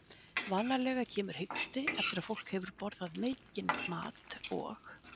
Vanalega kemur hiksti eftir að fólk hefur borðað mikinn mat og